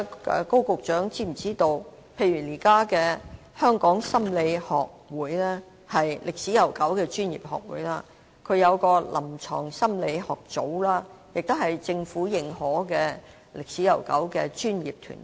高局長是否知道，現時香港心理學會——一個歷史悠久的專業學會——設有臨床心理學組，它亦是政府認可且歷史悠久的專業團體。